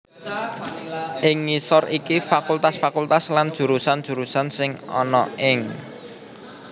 Ing ngisor iki fakultas fakultas lan jurusan jurusan sing ana ing